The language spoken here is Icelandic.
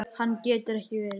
Annað getur ekki verið.